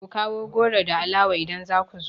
Ku kawo goro da alawa idan za ku zo!